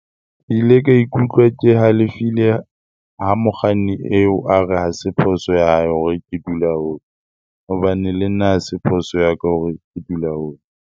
Ke ile ka ikutlwa ke halefile ha mokganni eo a re ha se phoso ya hae hore ke dula hole hobane le nna ha se phoso ya ka hore ke dula hole.